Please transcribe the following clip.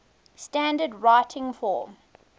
standard written form